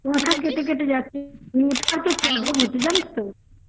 কেটে কেটে যাচ্ছে network problem জানিস তো.